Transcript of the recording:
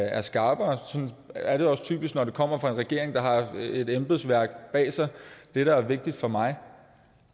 er skarpere sådan er det også typisk når det kommer fra en regering der har et embedsværk bag sig det der er vigtigt for mig